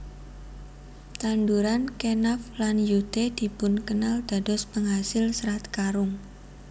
Tanduran Kenaf lan Yute dipun kenal dados penghasil Serat Karung